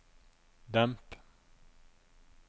demp